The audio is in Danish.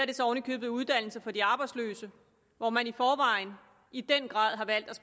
det så oven i købet uddannelse for de arbejdsløse hvor man i forvejen i den grad har valgt at